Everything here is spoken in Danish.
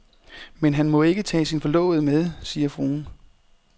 Men han må ikke tage sin forlovede med, siger fruen.